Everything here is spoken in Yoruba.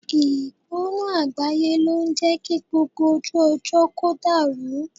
Ìgbóná àgbáyé ló ń jé kí gbogbo ojú ọjọ́ kó dàrú.